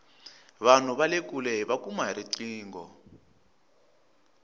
vanhu vale kule hiva kuma hi riqingho